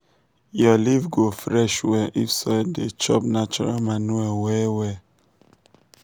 your leaf go fresh well if soil dey chop natural manure well well.